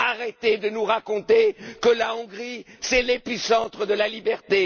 Arrêtez de nous raconter que la Hongrie, c'est l'épicentre de la liberté.